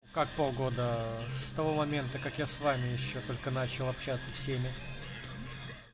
как полгода с того момента как я с вами ещё только начал общаться всеми